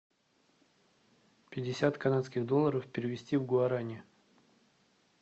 пятьдесят канадских долларов перевести в гуарани